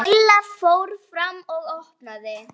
Lilla fór fram og opnaði.